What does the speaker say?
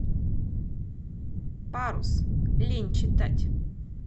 парус лень читать